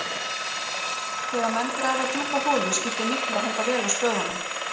Þegar menn grafa djúpa holu skiptir miklu að halda vel á spöðunum.